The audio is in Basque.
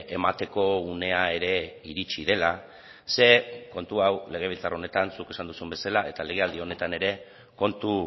emateko unea ere iritsi dela ze kontu hau legebiltzar honetan zuk esan duzun bezala eta legealdi honetan ere kontu